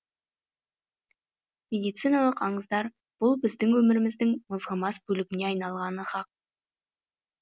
медициналық аңыздар бұл біздің өміріміздің мызғымас бөлігіне айналғаны хақ